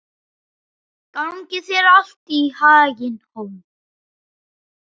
Gangi þér allt í haginn, Hólm.